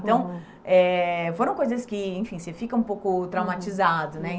Então eh, foram coisas que, enfim, você fica um pouco traumatizado, né?